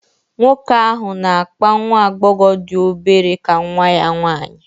Nwoke ahụ na-akpa nwa agbọghọ dị obere ka nwa ya nwanyị